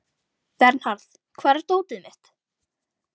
Vernharð, hvar er dótið mitt?